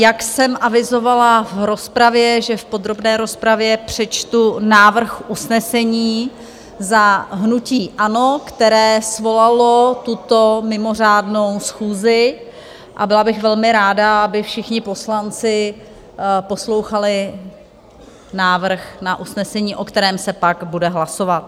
Jak jsem avizovala v rozpravě, že v podrobné rozpravě přečtu návrh usnesení za hnutí ANO, které svolalo tuto mimořádnou schůzi, a byla bych velmi ráda, aby všichni poslanci poslouchali návrh na usnesení, o kterém se pak bude hlasovat.